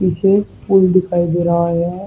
पीछे एक पुल दिखाई दे रहा है।